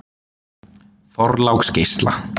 Þorláksgeisla